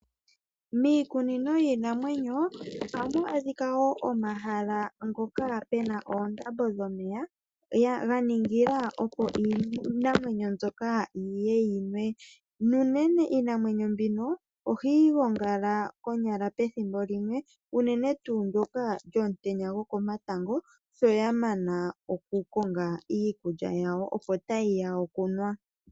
Miikunino yiinamwenyo ohamu monika omahala ngoka goo ndambo dho meya, opo iinamwenyo mbuoka yiye yinwe. Ngaashi unene iinamwenyo mbino ohayi gongala konyala pethimbo limwe, unene tuu ndyoka lyo mutenya woko matango , shoya mana okukonga iikulya yawo opo ta yiya okunwa omeya.